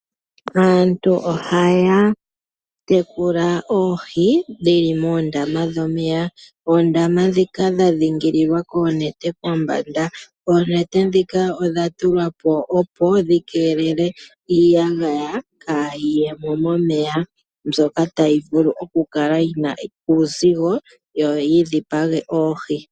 Aantu ohaya tekula oohi dhili moondama dhomeya dhadhingililwa koonete kombanda. oonete odhatulwapo nelalakano lyokukeelela iiyagaya momeya mbyoka tayi vulu okukala yina uuzigo yo yidhipage oohi.